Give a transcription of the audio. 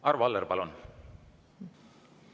Arvo Aller, palun!